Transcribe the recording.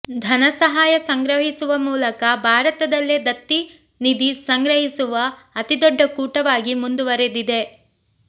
ಧನಸಾಹಯ ಸಂಗ್ರಹಿಸುವ ಮೂಲಕ ಭಾರತದಲ್ಲೇ ದತ್ತಿ ನಿಧಿ ಸಂಗ್ರಹಿಸುವ ಅತಿದೊಡ್ಡ ಕೂಟವಾಗಿ ಮುಂದುವರಿದಿದೆ